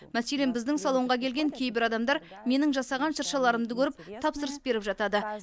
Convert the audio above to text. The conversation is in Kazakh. мәселен біздің салонға келген кейбір адамдар менің жасаған шыршаларымды көріп тапсырыс беріп жатады